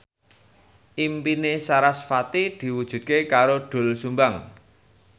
impine sarasvati diwujudke karo Doel Sumbang